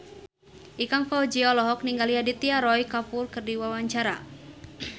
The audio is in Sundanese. Ikang Fawzi olohok ningali Aditya Roy Kapoor keur diwawancara